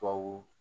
Tubabu